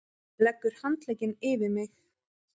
Leggur handlegginn yfir mig.